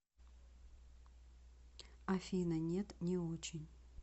афина нет не очень